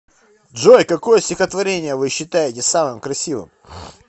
джой какое стихотворение вы считаете самым красивым